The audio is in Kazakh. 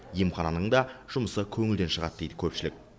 емхананың да жұмысы көңілден шығады дейді көпшілік